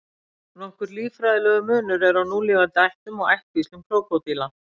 Nokkur líffræðilegur munur er á núlifandi ættum og ættkvíslum krókódíla.